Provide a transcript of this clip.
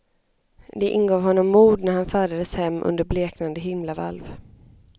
Det ingav honom mod när han färdades hem under bleknande himlavalv.